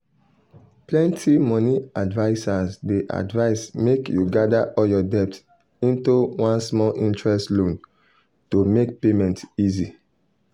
plenty money advisers dey advise make you gather all your debt into one small-interest loan to make payment easy.